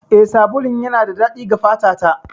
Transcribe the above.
Eh, sabulun yana da daɗi ga fata ta.